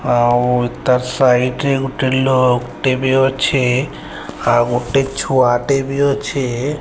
ଆଉ ତାର୍ ସାଇଟ ରେ ଗୁଟେ ଲୋକ୍ ଟେ ବି ଅଛି। ଆଉ ଗୋଟେ ଛୁଆଟେ ବି ଅଛି।